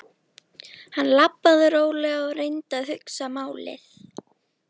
Hann labbaði rólega og reyndi að hugsa málið.